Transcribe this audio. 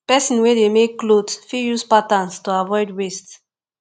persin wey de make clothes fit use patterns to avoid waste